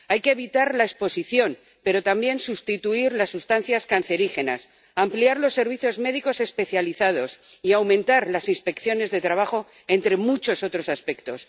Hay que evitar la exposición, pero también sustituir las sustancias cancerígenas, ampliar los servicios médicos especializados y aumentar las inspecciones de trabajo, entre muchos otros aspectos.